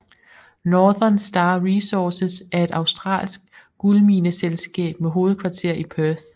Northern Star Resources er et australsk guldmineselskab med hovedkvarter i Perth